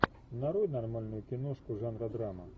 нарой нормальную киношку жанра драма